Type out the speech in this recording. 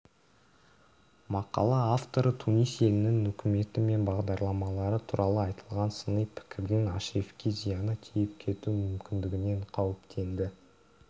мақала авторы тунис елінің үкіметі мен бағдарламалары туралы айтылған сыни пікірдің ашрифке зияны тиіп кетуі мүмкіндігінен қауіптенді